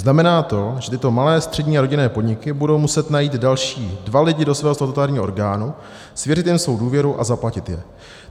Znamená to, že tyto malé, střední a rodinné podniky budou muset najít další dva lidi do svého statutárního orgánu, svěřit jim svou důvěru a zaplatit je.